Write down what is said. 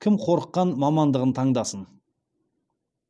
кім қорыққан мамандығын таңдасын